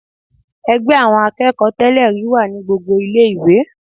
Ẹgbẹ́ àwọn akẹ́kọ̀ọ́ tẹ́lẹ̀-rí wà ní gbogbo ilé ìwé.